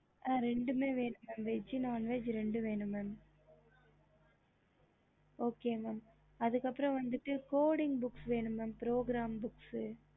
ரெண்டுமே இருக்கு உங்களுக்கு என்ன வேணும் veg and non veg ரெண்டுமே வேணும் okay okey mam அதுக்கு அப்புறம் codeing books வேணும் progeram books